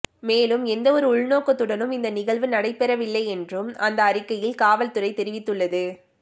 மேலும் எந்த ஒரு உள்நோக்கத்துடனும் இந்த நிகழ்வு நடைபெறவில்லை என்றும் அந்த அறிக்கையில் காவல்துறை தெரிவித்துள்ளது